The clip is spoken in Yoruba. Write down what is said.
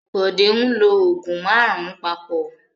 Bọ̀dé ń lo òògùn márùn-ún papọ̀.